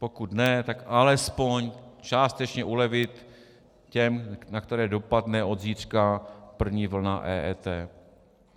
Pokud ne, tak alespoň částečně ulevit těm, na které dopadne od zítřka první vlna EET.